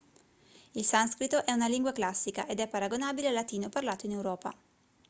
il sanscrito è una lingua classica ed è paragonabile al latino parlato in europa